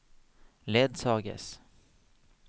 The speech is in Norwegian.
ledsages